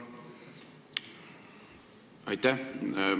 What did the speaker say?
Aitäh!